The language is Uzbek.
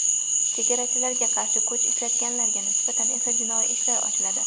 Chegarachilarga qarshi kuch ishlatganlarga nisbatan esa jinoiy ishlar ochiladi.